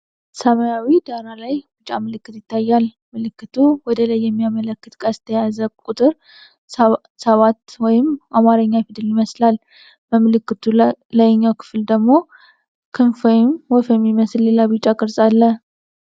ሰማያዊ ዳራ ላይ ቢጫ ምልክት ይታያል። ምልክቱ ወደ ላይ የሚያመለክት ቀስት የያዘ ቁጥር ሰባት ወይም የአማርኛ ፊደል ይመስላል። በምልክቱ ላይኛው ክፍል ላይ ደግሞ ክንፍ ወይም ወፍ የሚመስል ሌላ ቢጫ ቅርጽ አለ።